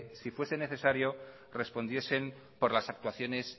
si fuese necesario respondiesen por las actuaciones